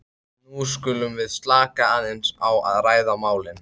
nú skulum við slaka aðeins á og ræða málin.